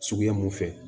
Suguya mun fɛ